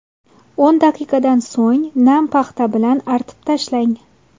O‘n daqiqadan so‘ng nam paxta bilan artib tashlang.